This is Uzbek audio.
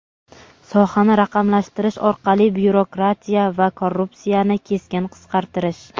sohani raqamlashtirish orqali byurokratiya va korrupsiyani keskin qisqartirish.